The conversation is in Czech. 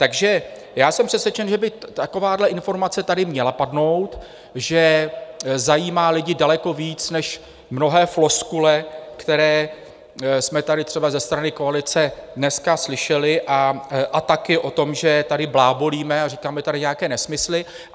Takže já jsem přesvědčen, že by takováhle informace tady měla padnout, že zajímá lidi daleko víc než mnohé floskule, které jsme tady třeba ze strany koalice dneska slyšeli, a taky o tom, že tady blábolíme a říkáme tady nějaké nesmysly.